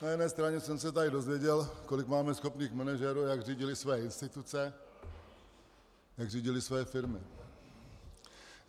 Na jedné straně jsem se tady dozvěděl, kolik máme schopných manažerů, jak řídili své instituce, jak řídili své firmy.